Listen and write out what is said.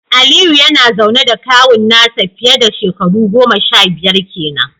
Aliyu yana zaune da kawun nasa fiye dashekaru goma sha biyar kenan.